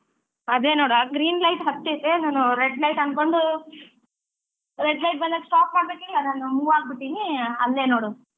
ಅದೇ ನೋಡ್ ಅ green light ಹತ್ತಿದೆ ನಾನ್ red light ಅನ್ಕೊಂಡು red light ಬಂದಾಗ stop ಮಾಡ್ಬೇಕಿಲ್ಲ ನಾನ್ move ಆಗ್ಬಿಟ್ಟಿನಿ ಅಲ್ಲೇ ನೋಡ್?